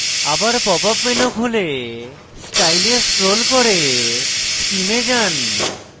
আবার pop up menu খুলে style এ scroll করে scheme এ যান